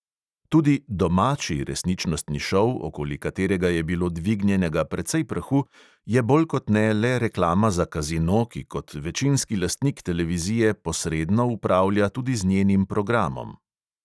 Tudi "domači" resničnostni šov, okoli katerega je bilo dvignjenega precej prahu, je bolj kot ne le reklama za kazino, ki kot večinski lastnik televizije posredno upravlja tudi z njenim programom.